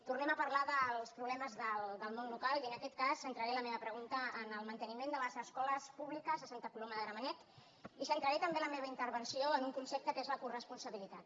tornem a parlar dels problemes del món local i en aquest cas centraré la meva pregunta en el manteniment de les escoles públiques a santa coloma de gramenet i centraré també la meva intervenció en un concepte que és la coresponsabilitat